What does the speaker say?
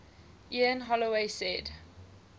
ian holloway said